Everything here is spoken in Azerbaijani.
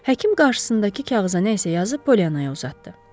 Həkim qarşısındakı kağıza nə isə yazıb Polyannaya uzatdı.